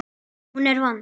Hún er vond.